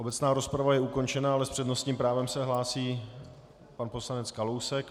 Obecná rozprava je ukončena, ale s přednostním právem se hlásí pan poslanec Kalousek.